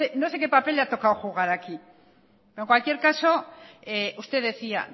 no sé qué papel le ha tocado jugar aquí pero en cualquier caso usted decía